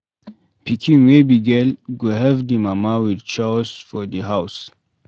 Pikin wey be girl go help di mama with chores for di house